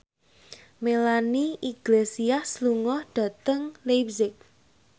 Melanie Iglesias lunga dhateng leipzig